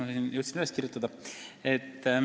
Õnneks ma jõudsin üles kirjutada.